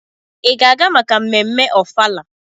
Ị ga-aga maka ememme ofala?